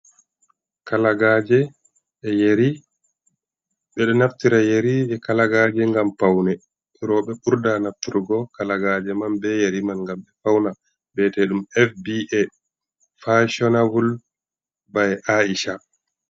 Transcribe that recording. Kalagaje e' Yeri: Ɓeɗo naftira yeriji, kalagaje ngam paune. Roɓe ɓurda naftirgo kalagaje man be yari man ngam ɓe fauna biyete ɗum FBA fassionable by Aisha.